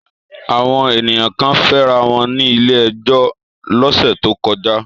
Àwọn ènìyàn kan fẹ́ra wọn ní ilé-ẹjọ́ lọ́sẹ̀ tó kọjá.